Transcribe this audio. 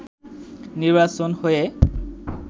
নির্বাচন হয়ে